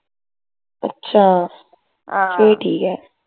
ਅੱਛਾ ਫੇਰ ਠੀਕ ਹੈ